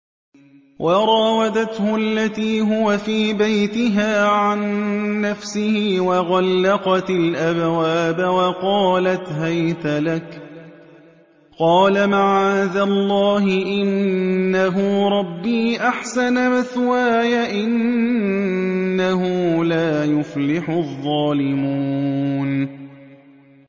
وَرَاوَدَتْهُ الَّتِي هُوَ فِي بَيْتِهَا عَن نَّفْسِهِ وَغَلَّقَتِ الْأَبْوَابَ وَقَالَتْ هَيْتَ لَكَ ۚ قَالَ مَعَاذَ اللَّهِ ۖ إِنَّهُ رَبِّي أَحْسَنَ مَثْوَايَ ۖ إِنَّهُ لَا يُفْلِحُ الظَّالِمُونَ